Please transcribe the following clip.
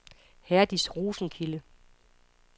Herdis Rosenkilde